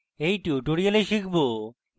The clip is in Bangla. in tutorial আমরা শিখব: